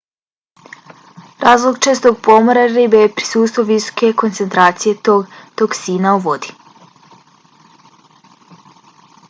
razlog čestog pomora ribe je prisustvo visoke koncentracije tog toksina u vodi